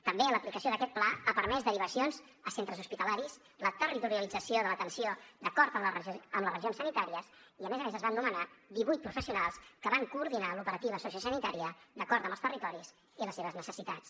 també l’aplicació d’aquest pla ha permès derivacions a centres hospitalaris la territorialització de l’atenció d’acord amb les regions sanitàries i a més a més es van nomenar divuit professionals que van coordinar l’operativa sociosanitària d’acord amb els territoris i les seves necessitats